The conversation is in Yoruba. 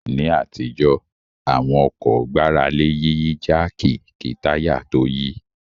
Ní àtijọ́ àwọn ọkọ̀ gbára lé Yíyí jáàkì kí táyà tó yí